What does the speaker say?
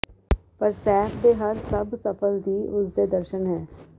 ਪਰ ਸ਼ੈੱਫ ਦੇ ਹਰ ਸਭ ਸਫਲ ਦੀ ਉਸ ਦੇ ਦਰਸ਼ਣ ਹੈ